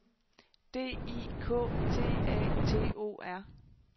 D I K T A T O R